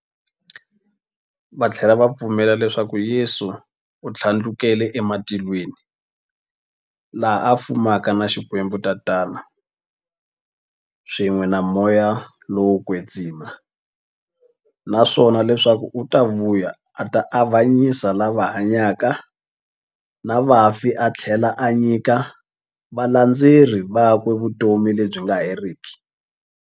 Vathlela va pfumela leswaku Yesu u thlandlukele ematilweni, laha a fumaka na Xikwembu-Tatana, swin'we na Moya lowo kwetsima, naswona leswaku u ta vuya a ta avanyisa lava hanyaka na vafi athlela a nyika valandzeri vakwe vutomi lebyi nga heriki.